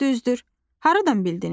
Düzdür, haradan bildiniz?